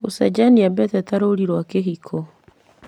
gũcenjania mbete ta rũri rwa kĩhiko.